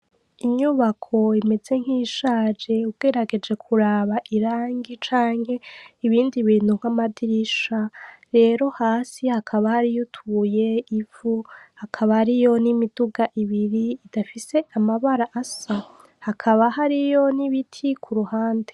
Inyubako imeze nkiyishaje ugerageje kuraba irangi canke ibindi bintu nk’amadirisha rero hasi hakaba hariyo utubuye ivu, hakaba hariyo imiduga ibiri idafise amabara asa hakaba hariyo n’ibiti kuruhande.